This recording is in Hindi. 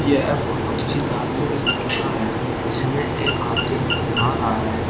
यह फोटो किसी धार्मिक स्थल का है जिसमें एक हाथी नहा रहा है।